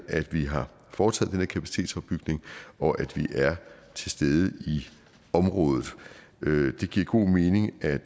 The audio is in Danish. at vi har foretaget den her kapacitetsopbygning og at vi er til stede i området det giver god mening at